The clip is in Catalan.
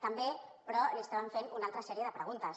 també però li estàvem fent una altra sèrie de preguntes